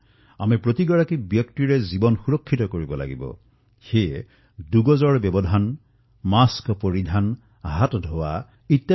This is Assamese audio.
আমি প্ৰতিটো জীৱন ৰক্ষা কৰিব লাগিব আৰু সেয়ে দুই গজৰ দুৰত্বও বৰ্তাই ৰাখিব লাগিব